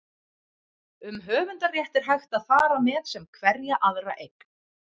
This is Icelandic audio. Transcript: um höfundarrétt er hægt að fara með sem hverja aðra eign